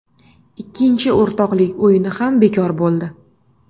Ikkinchi o‘rtoqlik o‘yini ham bekor bo‘ldi.